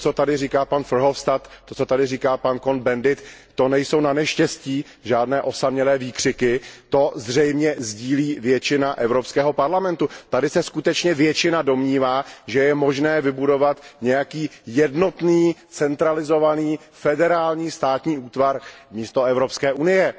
To, co tady říká pan Verhofstadt, to, co tady říká pan Cohn Bendit, to nejsou naneštěstí žádné osamělé výkřiky, toto přesvědčení zřejmě sdílí většina Evropského parlamentu. Tady se skutečně většina domnívá, že je možné vybudovat nějaký jednotný centralizovaný federální státní útvar místo Evropské unie.